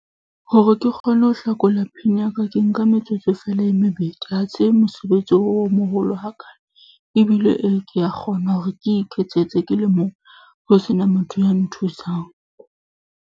Hore ke kgone ho hlakola PIN ya ka, ke nka metsotso feela e mebedi. Ha se mosebetsi o moholo hakaalo, ebile e ke a kgona hore ke iketsetse ke le mong. Ho sena motho ya nthusang.